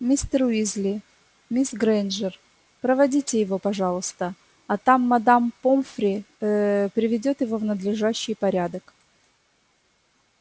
мистер уизли мисс грэйнджер проводите его пожалуйста а там мадам помфри ээ приведёт его в надлежащий порядок